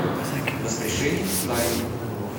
воскрешение каина